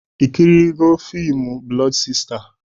Ị kirịela fimu Blọdu Sista?